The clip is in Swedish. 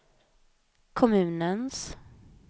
kommunens